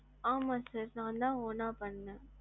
ஆமா sir நான் தான் own ஆ பண்ணேன்.